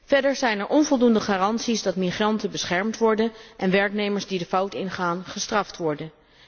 Verder zijn er onvoldoende garanties dat migranten beschermd worden en werknemers die de fout ingaan, gestraft worden.